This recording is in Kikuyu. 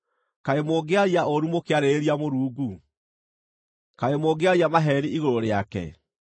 Kaĩ mũngĩaria ũũru mũkĩarĩrĩria Mũrungu? Kaĩ mũngĩaria maheeni igũrũ rĩake?